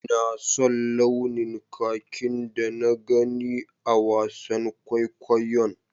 Ina son launin kakin da na gani a wasan kwaikwayon.